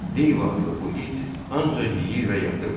Deyv adlı bu it ancaq yeyir və yatırdı.